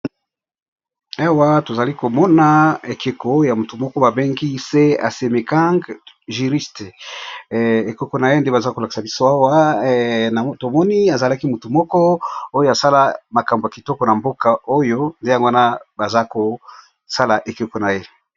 Awa tozali komona ekeko ya motu moko ba bengi se asemechang juriste ekeko na ye nde baza kolakisa biso awa na tomoni azalaki mutu moko oyo asala makambo ya kitoko na mboka oyo nde yango wana baza kosala ekeko na ye.